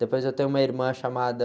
Depois eu tenho uma irmã chamada...